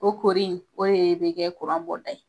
O koori o ye be kɛ kuran bɔda ye.